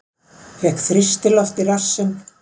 Fékk þrýstiloft í rassinn